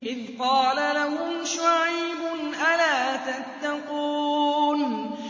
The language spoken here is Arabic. إِذْ قَالَ لَهُمْ شُعَيْبٌ أَلَا تَتَّقُونَ